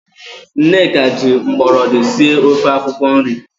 Nneka ji mgbọrọdị sie ofe akwụkwo nri.